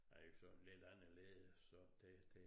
Er jo såden lidt anderledes så det det